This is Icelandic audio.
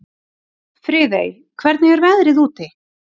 Friðey, hvernig er veðrið úti?